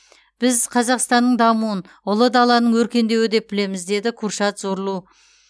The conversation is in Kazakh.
біз қазақстанның дамуын ұлы даланың өркендеуі деп білеміз деді куршад зорлу